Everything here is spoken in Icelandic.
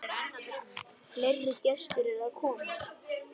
Fleiri gestir eru að koma.